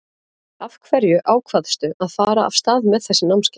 Af hverju ákvaðstu að fara af stað með þessi námskeið?